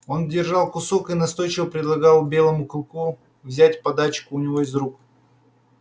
он держал кусок и настойчиво предлагал белому клыку взять подачку у него из рук